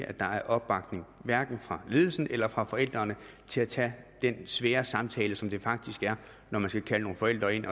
at der er opbakning hverken fra ledelsen eller fra forældrene til at tage den svære samtale som det faktisk er når man skal kalde nogle forældre ind